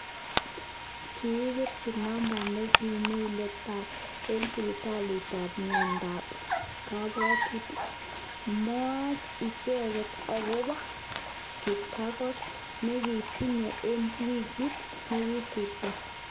Kepirchi namba nemikilipan eng sipitalitab miyandoab kabwatutik. Mwach icheket akobo kiptangot nekitinye eng wikit nekikosirito